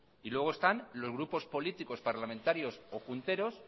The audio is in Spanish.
y luego están los grupos políticos parlamentarios o junteros